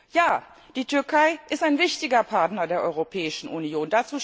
Ja, die Türkei ist ein wichtiger Partner der Europäischen Union.